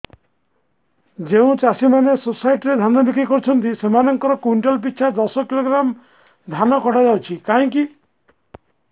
ଯେଉଁ ଚାଷୀ ମାନେ ସୋସାଇଟି ରେ ଧାନ ବିକ୍ରି କରୁଛନ୍ତି ସେମାନଙ୍କର କୁଇଣ୍ଟାଲ ପିଛା ଦଶ କିଲୋଗ୍ରାମ ଧାନ କଟା ଯାଉଛି କାହିଁକି